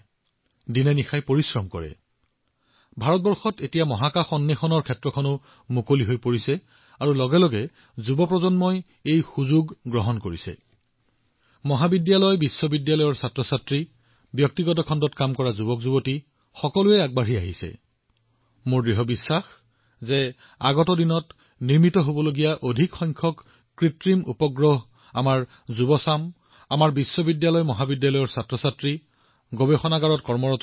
আমি দেখিছো কিছুদিন পূৰ্বে ভাৰতে ইয়াৰ মহাকাশ খণ্ড মুকলি কৰিছে আৰু অতি সোনকালেই যুৱ প্ৰজন্মই সেই সুযোগটো লাভ কৰি ইয়াৰ সুবিধা লবলৈ মহাবিদ্যালয় বিশ্ববিদ্যালয় ব্যক্তিগত খণ্ডত কাম কৰা যুৱকযুৱতীসকল বৃহৎ পৰিমাণে আগবাঢ়ি আহিছে আৰু মই নিশ্চিত যে অনাগত দিনত যি বৃহৎ সংখ্যক উপগ্ৰহৰ সৃষ্টি হব আমাৰ যুৱ আমাৰ শিক্ষাৰ্থী আমাৰ মহাবিদ্যালয় আমাৰ বিশ্ববিদ্যালয় পৰীক্ষাগাৰত কাম কৰা শিক্ষাৰ্থীসকলে নিশ্চয় এই সন্দৰ্ভত কাম কৰি আছে